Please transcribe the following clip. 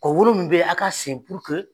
Kɔ wolon min bɛ yen a ka sen puruke